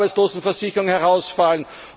aus der Arbeitslosenversicherung herausfallen.